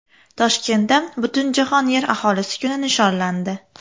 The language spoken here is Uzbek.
Toshkentda Butunjahon Yer aholisi kuni nishonlandi.